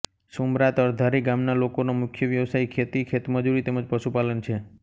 સુમરા તરધારી ગામના લોકોનો મુખ્ય વ્યવસાય ખેતી ખેતમજૂરી તેમ જ પશુપાલન છે